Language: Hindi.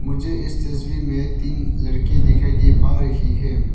मुझे इस तस्वीर में तीन लड़के दिखाई दे पा रही हैं।